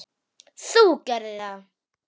Þú gerðir það.